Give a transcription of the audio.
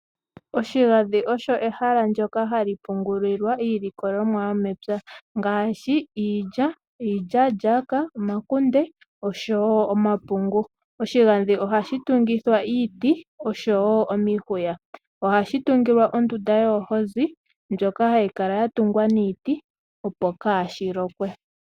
Oshigandhi osho ehala ndyoka hali pungulilwa iilikolomwa yomepya ngaashi iilya, iilyaalyaaka, omakunde oshowo omapungu. Oshigandhi ohashi tungithwa iiti oshowo omihuya. Ohashi tungilwa ondunda yoohozi ndjoka hayi kala yatungwa niiti opo kaashi lokwe.